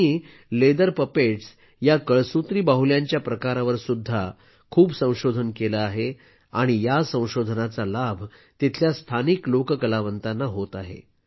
त्यांनी leather puppets या कळसुत्री बाहुल्यांच्या प्रकारावर सुद्धा खूप संशोधन केलं आहे आणि या संशोधनाचा लाभ तिथल्या स्थानिक लोककलावंतांना होत आहे